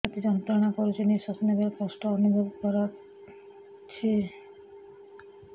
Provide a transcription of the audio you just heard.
ଛାତି ଯନ୍ତ୍ରଣା କରୁଛି ନିଶ୍ୱାସ ନେବାରେ କଷ୍ଟ ଅନୁଭବ କରୁଛି